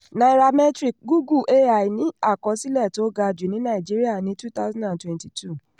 nairametrics: googlé ai ní àkọsílẹ̀ tó ga jù ní nàìjíríà ní two thousand and twenty two.